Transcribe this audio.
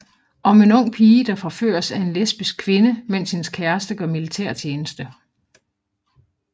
Om en ung pige der forføres af en lesbisk kvinde mens hendes kæreste gør militærtjeneste